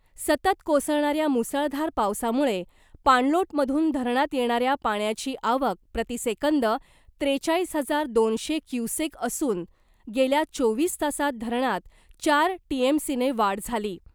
सतत कोसळणाऱ्या मुसळधार पावसामुळे पाणलोटमधून धरणात येणाऱ्या पाण्याची आवक प्रतिसेकंद त्रेचाळीस हजार दोनशे क्युसेक असून, गेल्या चोवीस तासात धरणात चार टीएमसीने वाढ झाली .